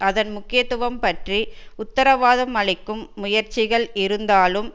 அதன் முக்கியத்துவம் பற்றி உத்தரவாதம் அளிக்கும் முயற்சிகள் இருந்தாலும்